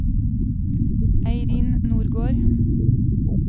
Eirin Nordgård